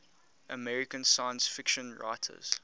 american science fiction writers